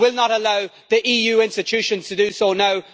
We will not allow the EU institutions to do so now.